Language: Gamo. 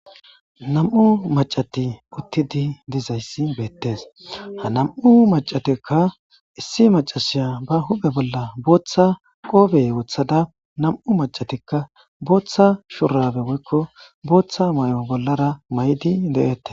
nam7u macati uttidi dizayssi beettes ha nam7u macatekka issi macasiya ba huphe bolla booththa qoobe woothada nam7u macatikka booththa shurabe moykko booththa may7o bollara may7di de7ette